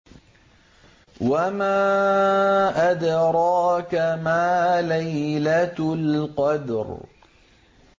وَمَا أَدْرَاكَ مَا لَيْلَةُ الْقَدْرِ